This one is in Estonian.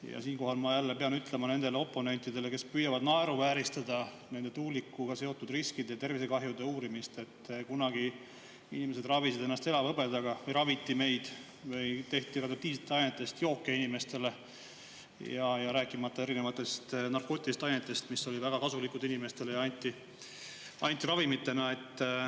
Ja siinkohal ma pean ütlema nendele oponentidele, kes püüavad naeruvääristada nende tuulikutega seotud riskide ja tervisekahjude uurimist, et kunagi inimesed ravisid ennast elavhõbedaga või raviti meid või tehti radioaktiivsetest ainetest jooke inimestele, rääkimata erinevatest narkootilistest ainetest, mis olid nagu väga kasulikud inimestele ja anti ravimitena.